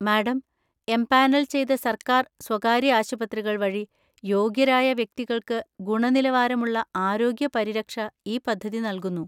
Madam, empanel ചെയ്ത സർക്കാർ, സ്വകാര്യ ആശുപത്രികൾ വഴി യോഗ്യരായ വ്യക്തികൾക്ക് ഗുണനിലവാരമുള്ള ആരോഗ്യ പരിരക്ഷ ഈ പദ്ധതി നൽകുന്നു.